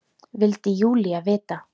vildi Júlía vita.